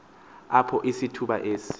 apho isithuba esi